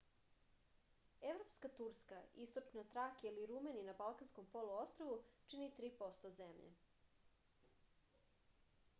европска турска источна тракија или румелија на балканском полуострву чини 3% земље